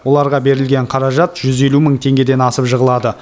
оларға берілген қаражат жүз елу мың теңгеден асып жығылады